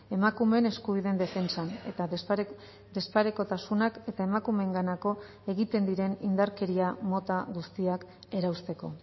emakumeen eskubideen defentsan eta desparekotasunak eta emakumeenganako egiten diren indarkeria mota guztiak erausteko